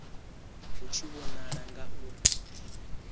hu tshi vhonala nga u